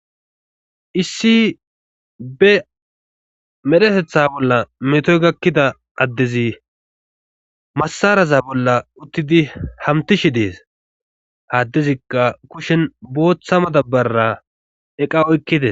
Issi be medhetetha bolla metoy gakkida addezi masaraza bolla uttidi hamtishi dees haddezikka kushen booththa madabbara eqawokkite